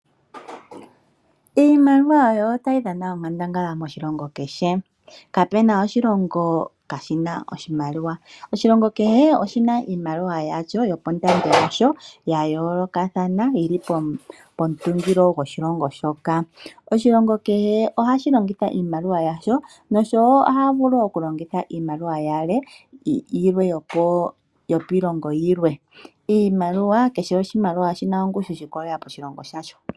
Iimaliwa oyo tayi dhana onkandangala moshilongo kehe. Kapuna oshilongo kaashina oshimaliwa . Oshilongo kehe oshina iimaliwa yasho nondando yasho yayoolokathana, yili pomutungilo goshilongo shoka. Oshilongo kehe ohashi longitha iimaliwa yasho noshowoo ohaa vulu wo okulongitha iimaliwa yilwe yokiilongo yilwe . Kehe oshimaliwa oshina ongushu yiikolela koshilongo shayo.